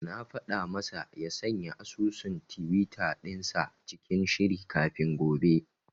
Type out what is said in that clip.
Na faɗa masa ya sanya asusun tiwita dinsa cikin shiri kafin gobe.